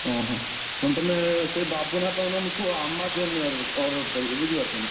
ହଁ ହଁ, ନହେଲେ ତମେ ସେ ବାବୁନାଆପା କୁ ନହେଲେ କୁହ Amazon ରେ order କରିବେ ବୁଝିପାରୁଛ ନା।